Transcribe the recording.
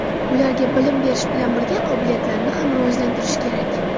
Ularga bilim berish bilan birga qobiliyatlarini ham rivojlantirish kerak.